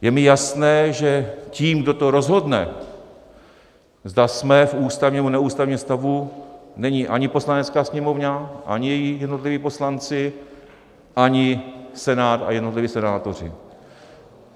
Je mi jasné, že tím, kdo to rozhodne, zda jsme v ústavním, nebo neústavním stavu, není ani Poslanecká sněmovna, ani její jednotliví poslanci, ani Senát a jednotliví senátoři.